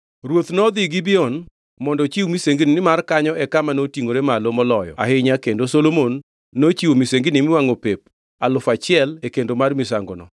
Ruoth nodhi Gibeon mondo ochiw misengini nimar kanyo e kama notingʼore malo moloyo ahinya kendo Solomon nochiwo misengini miwangʼo pep alufu achiel e kendo mar misangono.